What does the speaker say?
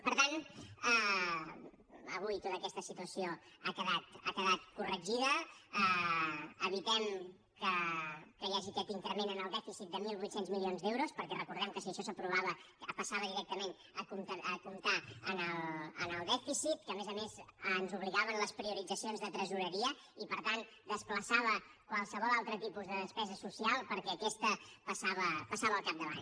per tant avui tota aquesta situació ha quedat corregida evitem que hi hagi aquest increment en el dèficit de mil vuit cents milions d’euros perquè recordem que si això s’aprovava passava directament a comptar en el dèficit que a més a més ens obligava en les prioritzacions de tresoreria i per tant desplaçava qualsevol altre tipus de despesa social perquè aquesta passava al capdavant